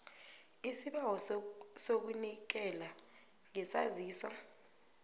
isibawo sokunikela ngesaziso